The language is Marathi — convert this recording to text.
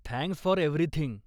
Thanks for everything.